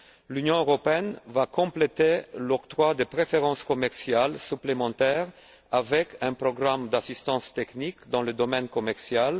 L'Union européenne va compléter l'octroi de préférences commerciales supplémentaires d'un programme d'assistance technique dans le domaine commercial.